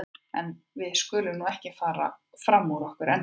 En við skulum nú ekki fara fram úr okkur ennþá.